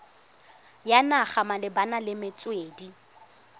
ya naga malebana le metswedi